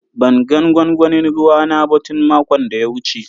Ban gan gwangwanin ruwa na ba tun makon da ya wuce.